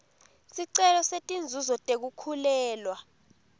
sicelo setinzuzo tekukhulelwa